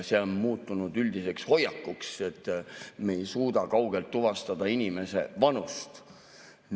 See on muutunud üldiseks hoiakuks, et me ei suuda kaugelt tuvastada inimese vanust.